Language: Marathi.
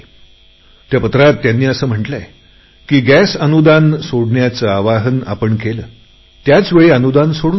चिठ्ठीत त्यांनी असे म्हटलेय की गॅस अनुदान सोडण्याचे आवाहन आपण केले त्याचवेळी अनुदान सोडून दिले